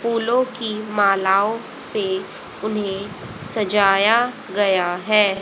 फूलों की मालाओं से उन्हें सजाया गया है।